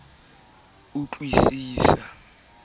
a ne a ipuella ka